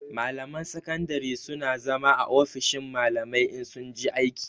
Malaman sakandare su na zama a ofishin malamai in sun je aiki